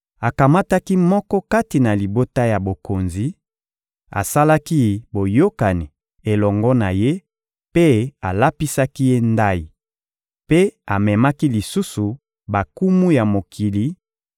Akamataki moko kati na libota ya bokonzi, asalaki boyokani elongo na ye mpe alapisaki ye ndayi; mpe amemaki lisusu bankumu ya mokili